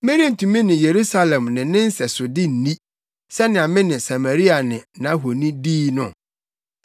Merentumi ne Yerusalem ne ne nsɛsode nni, sɛnea me ne Samaria ne nʼahoni dii no?’ ”